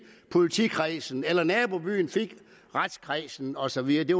politikredsen eller om nabobyen fik retskredsen og så videre det